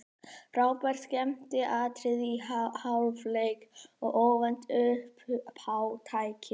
Frábær skemmtiatriði í hálfleik og óvænt uppátæki.